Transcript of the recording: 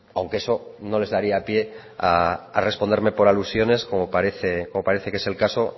aunque eso no les daría pie a responderme por alusiones como parece que es el caso